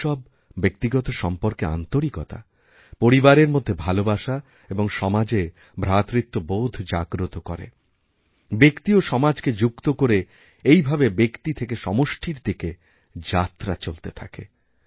উৎসব ব্যক্তিগত সম্পর্কেআন্তরিকতা পরিবারের মধ্যে ভালোবাসা এবং সমাজে ভ্রাতৃত্ববোধ জাগ্রত করে ব্যক্তি ওসমাজকে যুক্ত করে এইভাবে ব্যক্তি থেকে সমষ্টির দিকে যাত্রা চলতে থাকে